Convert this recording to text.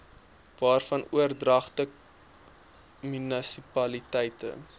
waarvan oordragte munisipaliteite